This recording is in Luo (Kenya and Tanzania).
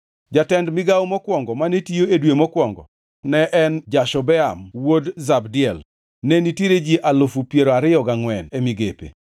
Jatend migawo mokwongo mane tiyo e dwe mokwongo ne en Jashobeam wuod Zabdiel. Ne nitiere ji alufu piero ariyo gangʼwen (24,000) e migape.